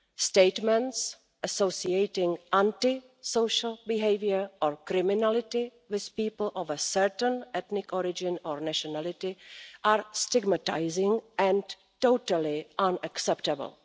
Statements associating anti social behaviour or criminality with people of a certain ethnic origin or nationality are stigmatising and totally unacceptable.